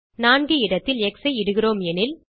4 இடத்தில் எக்ஸ் ஐ இடுகிறோம் எனில்